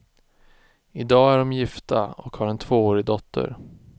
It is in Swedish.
I dag är de gifta och har en tvåårig dotter.